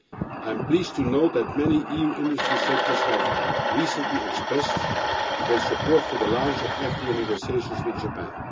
I am pleased to note that many EU industry sectors have recently expressed their support for the launch of FTA negotiations with Japan.